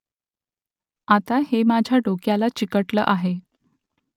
आता हे माझ्या डोक्याला चिकटलं आहे